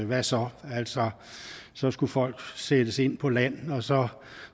hvad så altså så skulle folk sættes ind på land og så